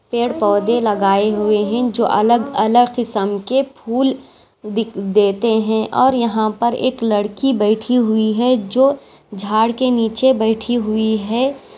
पेड़-पौधे लगाए हुए है जो अलग अलग किसम के फूल दी देते है और यहाँ पर एक लड़की बैठी हुई है जो झाड के नीचे बैठी हुई है।